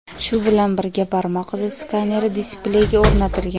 Shu bilan birga barmoq izi skaneri displeyga o‘rnatilgan.